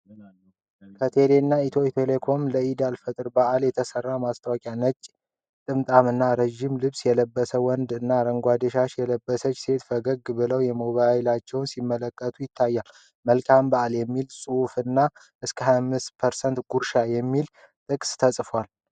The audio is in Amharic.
ከቴሌብርና ኢትዮ ቴሌኮም ለኢድ አል-ፈጥር በዓል የተሰራ ማስታወቂያ፣ ነጭ ጥምጣም እና ረዥም ልብስ የለበሰ ወንድ እና አረንጓዴ ሻሽ የለበሰች ሴት ፈገግ ብለው ሞባይላቸውን ሲመለከቱ ይታያል። "መልካም በዓል!" የሚል ጽሑፍና እስከ 25% ጉርሻ የሚያሳይ ጥቅስ ተጽፏል።